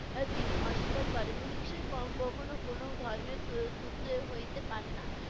তিনি অস্বীকার করেন। হিংসা ক~ কখনও কোনো ধর্মের সূ~ সুত্র হইতে পারেনা।